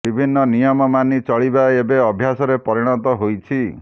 ବିଭିନ୍ନ ନିୟମ ମାନି ଚଳିବା ଏବେ ଅଭ୍ୟାସରେ ପରିଣତ ହୋଇଛି